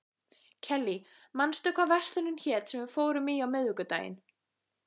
Kellý, manstu hvað verslunin hét sem við fórum í á miðvikudaginn?